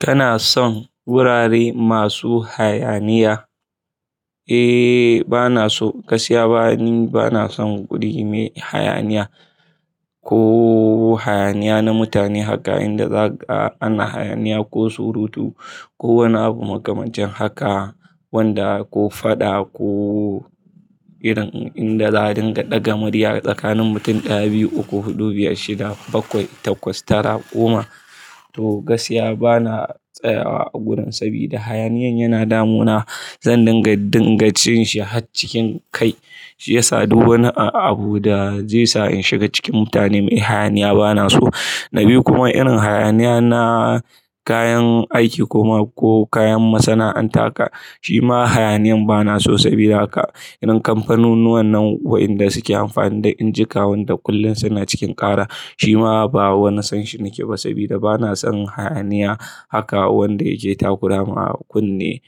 Kana son wurare masu hayaniya? Eh bana so gaskiya bana, bana son guri mai hayaniya ko hayaniya na mutane haka inda za'a ana hayaniya ko surutu ko wani abu makamashi haka wanda ko faɗa ko irin inda za a dinga ɗaga murya tsakanin mutum ɗaya, biyu, uku, huɗu, biyar, shida, bakwai, takwas, tara, goma. To gaskiya bana tsayawa a gurin sabida hayaniyan yana damuna. Zan dinga dingajin shi har cikin kai shi ya sa du wani abu da zai sa in shiga cikin mutane. Mai hayaniya bana so. Na biyu kuma irin hayaniya na kayan aiki kuma ko kayan masana'anta ka, shi ma hayaniyan bana so sabida haka irin kamfanunnuwan nan waɗanda suke amfani da injika wanda kullum suna cikin ƙara, shi ma ba wani san shi ni ke ba sabida bana son hayaniya haka wanda yake takurawa a kunne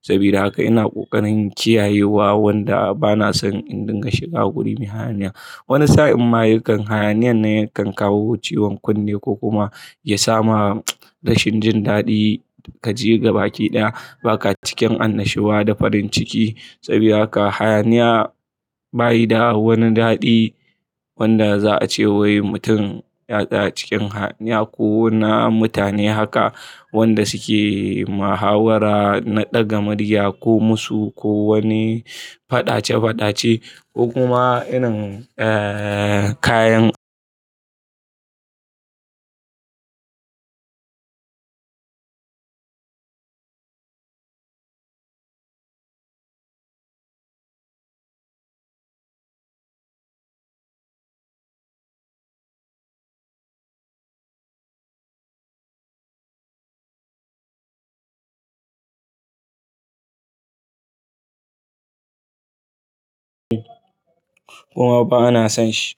sabida haka ina ƙoƙarin kiyayewa wanda bana son in dinga shiga guri mai hayaniya. Wani sa'in ma yakan hayaniyan ne yakan kawo ciwon kunne ko kuma ya sa ma rashin jin daɗi ka je ga baki ɗaya baka cikin annashuwa da farin ciki sabida haka hayaniya bayi da wani daɗi wanda za a cewa waii mutum ya tsaya cikin hayaniya ko na mutane haka wanda suke muhawara na ɗaga murya komasu ko wani faɗace faɗace ko kuma irin, eh, kayan kuma ba ana son shi.